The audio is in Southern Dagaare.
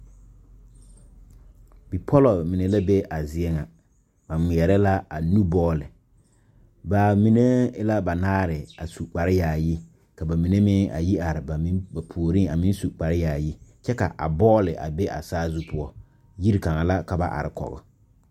Bipɔlɔ mine la be a zie ŋa ba ngmɛɛrɛ la a nu bɔɔle baa mine e la banaare a su kpare yaayi ka ba mine meŋ a yi are ba puoriŋ a meŋ su kpare yaayi kyɛ ka a bɔɔle a be saazu poɔ yiri kaŋa la ka ba are kɔg.